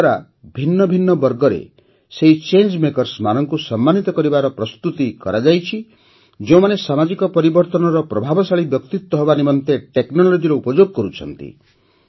ଏହାଦ୍ୱାରା ଭିନ୍ନ ଭିନ୍ନ ବର୍ଗରେ ସେହି ଚାଙ୍ଗେ ମେକର୍ସ ମାନଙ୍କୁ ସମ୍ମାନିତ କରାଯିବାର ପ୍ରସ୍ତୁତି କରାଯାଇଛି ଯେଉଁମାନେ ସାମାଜିକ ପରିବର୍ତ୍ତନର ପ୍ରଭାବଶାଳୀ ବ୍ୟକ୍ତିତ୍ୱ ହେବା ନିମନ୍ତେ Technologyର ଉପଯୋଗ କରୁଛନ୍ତି